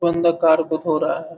बंद कार को धो रहा है।